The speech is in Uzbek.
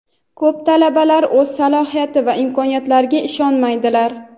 Ko‘plab talabalar o‘z salohiyat va imkoniyatlariga ishonmaydilar.